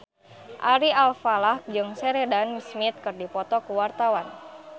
Ari Alfalah jeung Sheridan Smith keur dipoto ku wartawan